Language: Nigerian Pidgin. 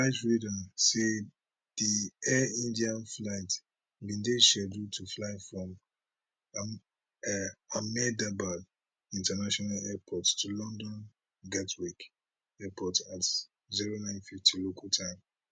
flight radar say di air india flight bin dey scheduled to fly from ahmedabad international airport to london gatwick airport at 0950 local time